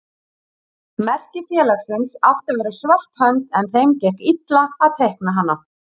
Merki félagsins átti að vera svört hönd en þeim gekk illa að teikna hana.